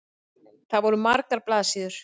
Það voru margar blaðsíður.